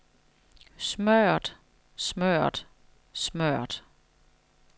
smørret smørret smørret